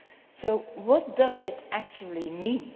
So what does it actually mean?